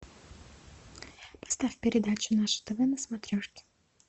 поставь передачу наше тв на смотрешке